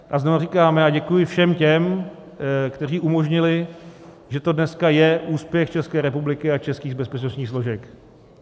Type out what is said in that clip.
A znova říkám, děkuji všem těm, kteří umožnili, že to dneska je úspěch České republiky a českých bezpečnostních složek.